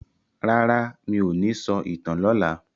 Rara, mí ò ní sọ ìtàn lọla.